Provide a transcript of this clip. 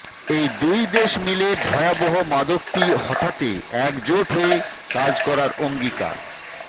এই দুই দেশ মিলে ভয়াবহ মাদকটি হটাতে একজোট হয়ে কাজ করার অঙ্গীকার